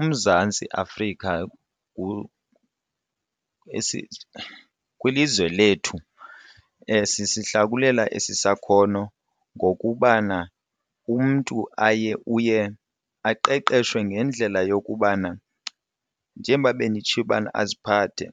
uMzantsi Afrika kwilizwe lethu sisihlakulela esi sakhono ngokubana umntu aye uye aqeqeshwe ngendlela yokubana njengoba benditshilo ubana aziphathe